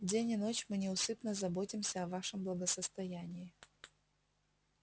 день и ночь мы неусыпно заботимся о вашем благосостоянии